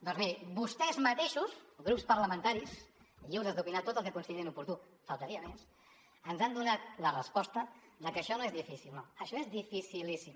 doncs miri vostès mateixos grups parlamentaris lliures d’opinar tot el que considerin oportú només faltaria ens han donat la resposta de que això no és difícil no això és dificilíssim